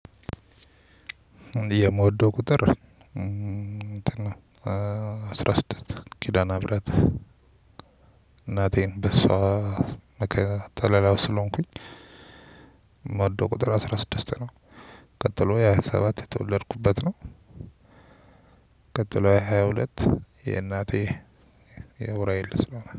የምወደው ቁጥር አስራ ስድስት (አስራ ስድስት) ኪዳነ ምህረት እናቴን፣ በ እሷ ከለላው ስለሆንኩኝ የምወደው ቁጥር አስራ ስድስት ነው። ቀጥሎ ሃያ ሰባት (ሃያ ሰባት) የተወለድኩበት ነው። ቀጥሎ ሃያ ሁለት (ሃያ ሁለት) የእናቴ፣ የኡራኤል